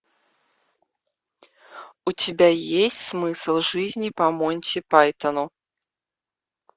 у тебя есть смысл жизни по монти пайтону